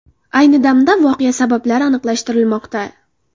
Ayni damda voqea sabablari aniqlashtirilmoqda.